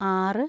ആറ്